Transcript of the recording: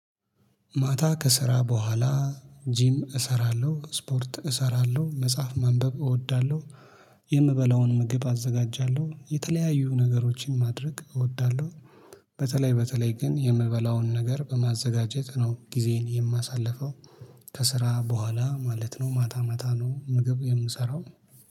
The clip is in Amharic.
ማታ ከስራ በኋላ ጂም እሰራለሁ ስፖርት እሰራለሁ መጽሐፍ ማንበብ እወዳለሁ የምበላውን ምግብ አዘጋጃለሁ የተለያዩ ነገሮችን ማድረግ እወዳለሁ። በተለይ በተለይ ግን የምበላውን ነገር በማዘጋጀት ነው ጊዜዬን የማሳልፈው። ከስራ በኋላ ማለት ነው ማታ ማታ ነው ምግብ የምሰራው